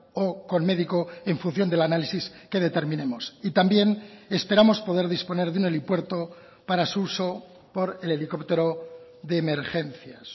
o con médico en función del análisis que determinemos y también esperamos poder disponer de un helipuerto para su uso por el helicóptero de emergencias